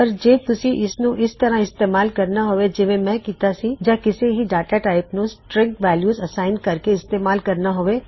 ਪਰ ਤੁਸੀਂ ਇਸਨੂੰ ਪਹਿਲਾ ਦੀ ਤਰ੍ਹਾ ਯਾ ਇਸ ਤਰ੍ਹਾ ਇਸਤੇਮਾਲ ਕਰ ਸਕਦੇ ਹੋਂ ਯਾ ਕਿਸੇ ਵੀ ਡਾਟਾ ਟਾਇਪ ਨੂੰ ਸਟਰਿੰਗ ਵੈਲਯੂ ਅਸਾਇਨ ਕਰਕੇ ਇਸਤੇਮਾਲ ਕਰ ਸਕਦੇ ਹੋਂ